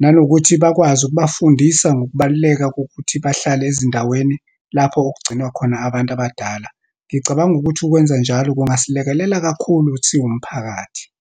Nanokuthi bakwazi ukubafundisa ngokubaluleka kokuthi bahlale ezindaweni lapho okugcinwa khona abantu abadala. Ngicabanga ukuthi ukwenza njalo kungasilekelela kakhulu siwumphakathi.